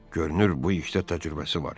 Görünür bu işdə təcrübəsi var.